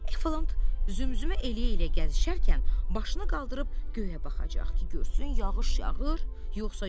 Eflant zümzümə eləyə-eləyə gəzişərkən başını qaldırıb göyə baxacaq ki, görsün yağış yağır, yoxsa yox?